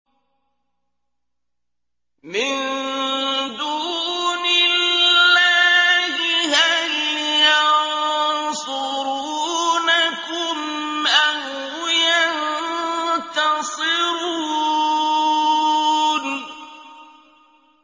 مِن دُونِ اللَّهِ هَلْ يَنصُرُونَكُمْ أَوْ يَنتَصِرُونَ